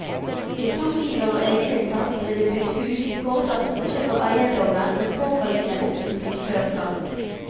Med stor iver og egeninnsats ble det bygd hus, foretatt oppkjøp av eiendommer med påfølgende oppussing før salg.